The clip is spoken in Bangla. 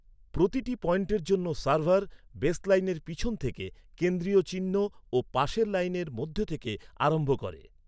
প্রতিটি পয়েন্টের জন্য সার্ভার, বেসলাইনের পিছন থেকে, কেন্দ্রীয় চিহ্ন ও পাশের লাইনের মধ্যে থেকে আরম্ভ করে।